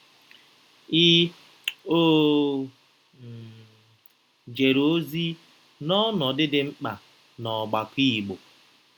Ị ọ̀ um jere ozi n’ọnọdụ dị mkpa n’ọgbakọ Igbo?